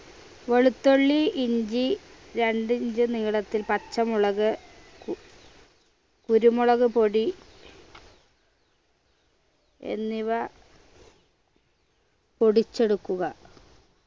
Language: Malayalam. വെളുത്തുള്ളി ഇഞ്ചി രണ്ട് inch നീളത്തിൽ പച്ചമുളക് കു കുരുമുളക്പൊടി എന്നിവ പൊടിച്ചെടുക്കുക